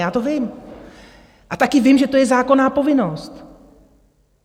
Já to vím a taky vím, že to je zákonná povinnost.